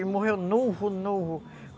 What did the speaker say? Ele morreu novo, novo.